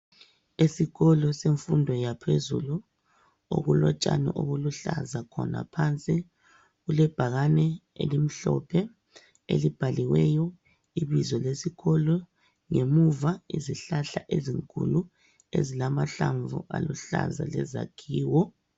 Esikolo semfundo yaphezulu okulotshani obuluhlaza khona phansi kulebhakane elimhlophe elibhaliweyo ibizo lesikolo ngemuva izihlahla ezinkulu ezilamahlamvu aluhlaza lezakhiwo.